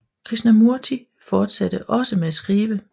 Krishnamurti fortsatte også med at skrive